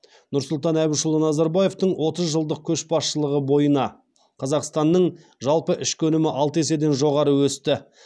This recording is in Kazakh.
нұрсұлтан әбішұлы назарбаевтың отыз жылдық көшбасшылығы бойына қазақстанның жалпы ішкі өнімі алты еседен жоғары өсті